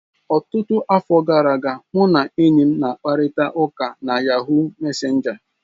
Ọtụtụ afọ gara aga, ụ na enyi m na-akparịta ụka na Yahuu mesenja.